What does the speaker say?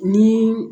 Ni